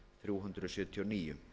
þrjú hundruð sjötíu og níu